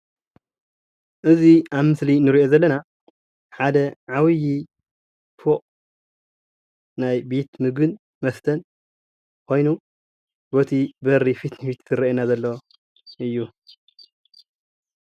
እዚ ኣብ ምስሊ እንሪኦ ዘለና ሓደ ዓብዩ ፎቅ ናይ ቤት ምግብን መሦተን ኮይኑ በቲ በሪ ፊት ንፊት ዝረእየና ዘሎ እዩ።